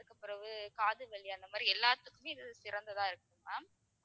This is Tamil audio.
பிறகு காது வலி அந்த மாதிரி எல்லாத்துக்குமே இது சிறந்ததா இருக்கும் ma'am